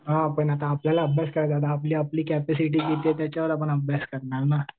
हां पण आता आपल्याला अभ्यास करायचा आहे. आपली कपॅसिटी किती आहे त्याच्यावरून आपण अभ्यास करणार ना.